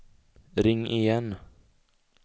ring igen